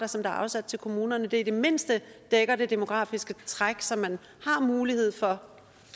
som er afsat til kommunerne i det mindste dækker det demografiske træk så man har mulighed for